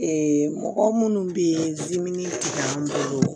mɔgɔ minnu bɛ yen dimini tɛ an bolo